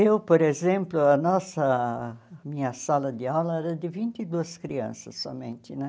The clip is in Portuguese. Eu, por exemplo, a nossa... Minha sala de aula era de vinte e duas crianças somente, né?